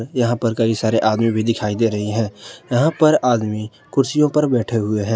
यहां पर कई सारे आदमी भी दिखाई दे रही है यहां पर आदमी कुर्सियों पर बैठे हुए हैं।